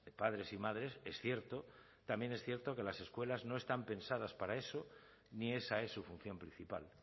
padres y madres es cierto también es cierto que las escuelas no están pensadas para eso ni esa es su función principal